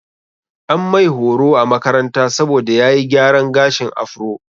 An mai horo a makaranta saboda ya yi gyaran gashin afro.